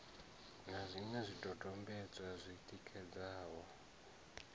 na zwiṅwe zwidodombedzwa zwi tikedzaho